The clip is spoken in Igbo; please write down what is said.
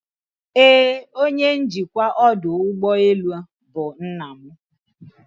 Ee, onye njikwa ọdụ ụgbọ elu bụ nna m